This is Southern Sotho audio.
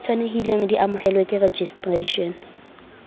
tshwanelehileng di amohelwe ke registration